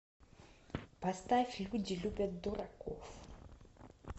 поставь люди любят дураков